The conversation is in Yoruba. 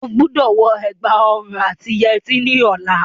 O gbọ́dọ̀ wọ ẹ̀gbà òrun àti yẹtí ní ọlá.